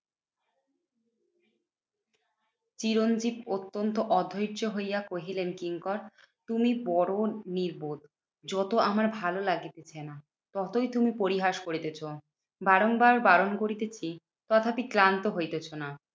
চিরঞ্জিত অত্যন্ত অধৈয্য হইয়া কহিলেন কিঙ্কর, তুমি বড়ো নির্বোধ। যত আমার ভালো লাগিতেছেনা, ততই তুমি পরিহাস করিতেছ। বারংবার বারণ করিতেছি তথাপি ক্লান্ত হইতেছোনা।